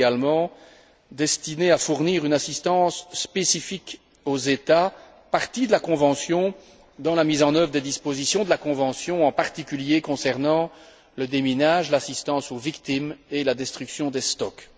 Elle est également destinée à fournir une assistance spécifique aux États parties à la convention dans la mise en œuvre des dispositions de la convention, en particulier concernant le déminage, l'assistance aux victimes et la destruction des stocks.